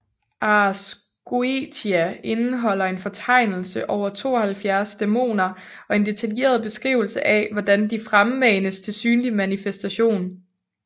Ars Goetia indeholder en fortegnelse over 72 dæmoner og en detaljeret beskrivelse af hvordan de fremmanes til synlig manifestation